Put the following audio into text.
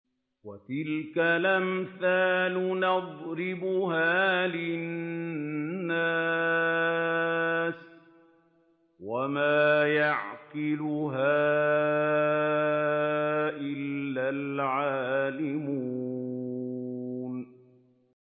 وَتِلْكَ الْأَمْثَالُ نَضْرِبُهَا لِلنَّاسِ ۖ وَمَا يَعْقِلُهَا إِلَّا الْعَالِمُونَ